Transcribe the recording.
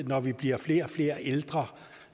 når man bliver flere og flere ældre